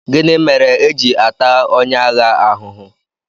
Gịnị mere e ji ata onye agha ahụ ahụhụ?